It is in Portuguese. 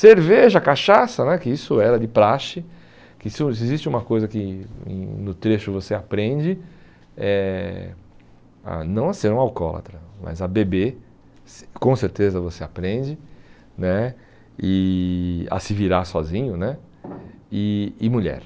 Cerveja, cachaça né, que isso era de praxe, que se se existe uma coisa que no trecho você aprende, eh a não a ser um alcoólatra, mas a beber, cer com certeza você aprende né e, a se virar sozinho né, e e mulher.